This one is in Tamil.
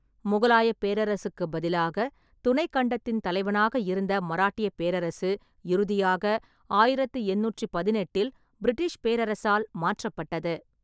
முகலாயப் பேரரசுக்குப் பதிலாக துணைக் கண்டத்தின் தலைவனாக இருந்த மராட்டியப் பேரரசு இறுதியாக ஆயிரத்து எண்ணூற்றி பதினெட்டில் பிரிட்டிஷ் பேரரசால் மாற்றப்பட்டது.